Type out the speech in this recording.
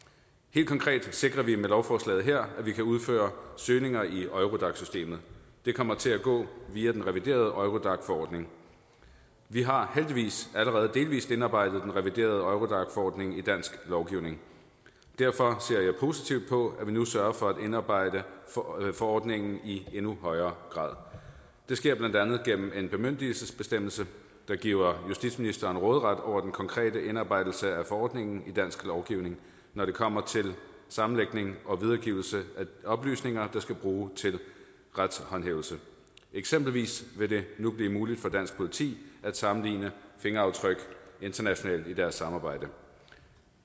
helt konkret sikrer vi med lovforslaget her at vi kan udføre søgninger i eurodac systemet det kommer til at gå via den reviderede eurodac forordning vi har heldigvis allerede delvis indarbejdet den reviderede eurodac forordning i dansk lovgivning derfor ser jeg positivt på at vi nu sørger for at indarbejde forordningen i endnu højere grad det sker blandt andet gennem en bemyndigelsesbestemmelse der giver justitsministeren råderet over den konkrete indarbejdelse af forordningen i dansk lovgivning når det kommer til sammenlægning og videregivelse af oplysninger der skal bruges til retshåndhævelse eksempelvis vil det nu blive muligt for dansk politi at sammenligne fingeraftryk internationalt i deres samarbejde